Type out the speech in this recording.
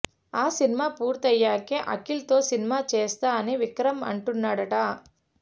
ఆ సినిమా పుర్తయ్యకే అఖిల్ తో సినిమా చేస్తా అని విక్రమ్ అంటున్నాడట